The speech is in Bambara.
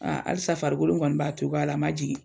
alisa farikolo kɔni b'a togoya la, a ma jigi.